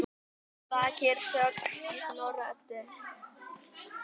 Að baki er sögn í Snorra-Eddu